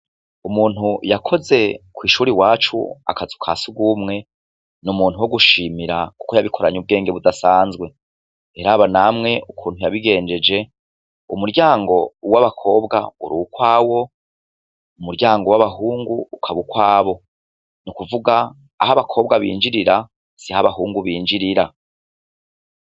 Umuntu yakoze kw'ishuri wacu akazi ka si ugumwe niumuntu wo gushimira, kuko yabikoranye ubwenge budasanzwe teraba namwe ukuntu yabigenjeje umuryango uwo abakobwa uri ukwawo umuryango w'abahungu ukaba ukwabo ni ukuvuga aho abakobwa binjirira si ho abahungu binjirira.